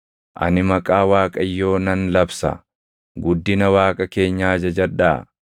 Ani maqaa Waaqayyoo nan labsa. Guddina Waaqa keenyaa jajadhaa!